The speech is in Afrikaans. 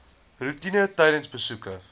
roetine tydens besoeke